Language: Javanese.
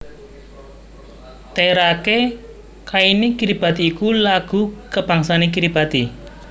Teirake kaini Kiribati iku lagu kabangsané Kiribati